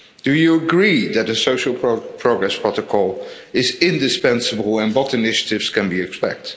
Do you agree that a social progress protocol is indispensable, and what initiatives can we expect?